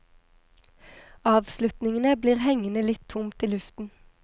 Avslutningene blir hengende litt tomt i luften.